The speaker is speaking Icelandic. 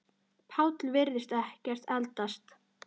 Páll virðist ekkert eldast.